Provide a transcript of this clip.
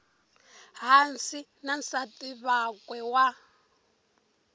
hansi na nsati wakwe wa